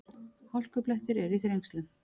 Hálkublettir eru í Þrengslum